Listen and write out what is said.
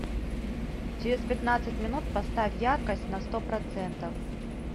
через пятнадцать минут поставь яркость на сто процентов